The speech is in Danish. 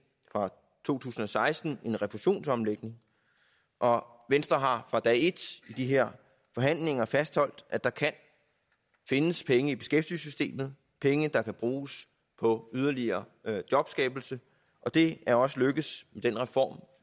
fra to tusind og seksten en refusionsomlægning og venstre har fra dag et i de her forhandlinger fastholdt at der kan findes penge i beskæftigelsessystemet penge der kan bruges på yderligere jobskabelse og det er også lykkedes i den reform